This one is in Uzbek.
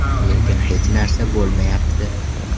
Lekin hech narsa bo‘lmayapti.